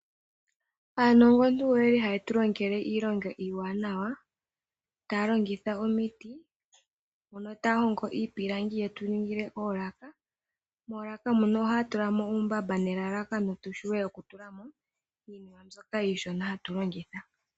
Aanongontu oyeli haye tulongele iilonga iiwanawa taya longitha omiti mono taya hongo iipilangi ye tuningile oolaka. Moolaka mono ohaya tulamo uumbamba nelalakano tuvule okutulamo iinima iishona mbyoka hatu longitha.